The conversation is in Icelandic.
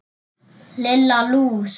Lilla lús!